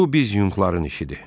Bu biz Yunqların işidir.